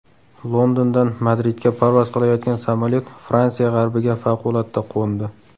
Londondan Madridga parvoz qilayotgan samolyot Fransiya g‘arbiga favqulodda qo‘ndi.